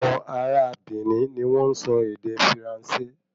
Awọ̀n ará a Benin ni wọ́n n sọ ède Firanse